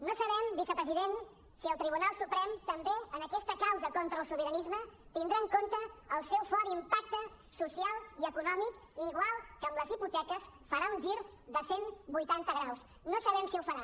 no sabem vicepresident si el tribunal suprem també en aquesta causa contra el sobiranisme tindrà en compte el seu fort impacte social i econòmic i igual que amb les hipoteques farà un gir de cent vuitanta graus no sabem si ho farà